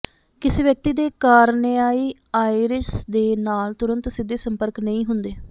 ਕਿਸੇ ਵਿਅਕਤੀ ਦੇ ਕਾਰਨੇਆਈ ਆਇਰਿਸ ਦੇ ਨਾਲ ਤੁਰੰਤ ਸਿੱਧੇ ਸੰਪਰਕ ਨਹੀਂ ਹੁੰਦੇ